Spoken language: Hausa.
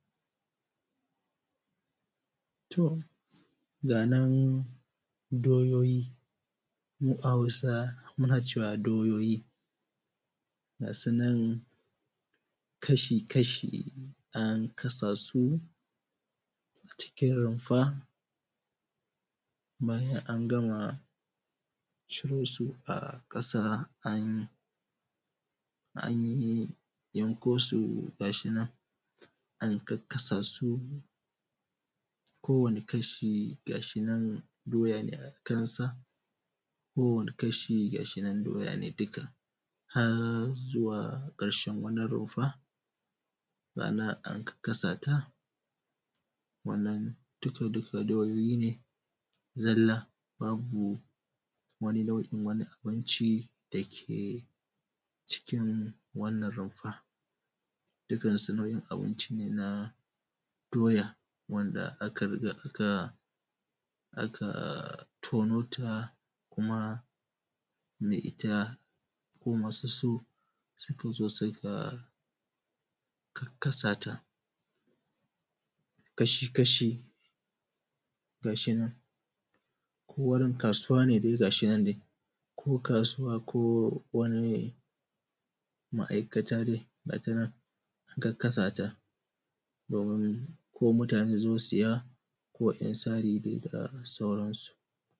To zanen doyayi, mu a Hausa muna cewa doyoyi ga su nan kashi-kashi an kasa su a cikin rumfa bayan an gama ciro su a ƙasa an gama yanko su ga su nan, an kakkasa su, kowane kashi ga shi nan doya ne a ƙasa kowane kashi ga shi na doya ne dukka, har zuwa ƙarshen wannan rumfa. Ga shi nan an karkasa ta wannan dukka doyoyi ne zalla babu wani nau'in wani abinci dake cikin wannan rufa dukkansu nau'in abinci ne na doya wanda aka riga aka tono ta kuma mai ita ko madu su suka zo suka kakkasa ta kashi-kashi ga shi nan ko wurin kasuwa ne ga shi nan dai. Ko kasuwa ko wani ma'aikata dai ga shi nan yadda ko mutane sun zo saya ko yan sari dai da sauransu.